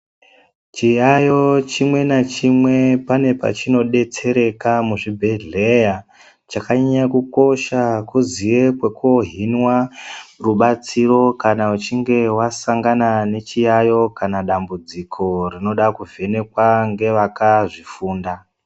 Chiyayo chimwe nachimwe pane pachinodetsereka muzvibhedhleya chakanyanya kukosha kuziya pekoohinwa rubatsiro kana uchinge wasangana nechiyayo kana dambudziko rinoda kuvhenekwa ngevakazvifunda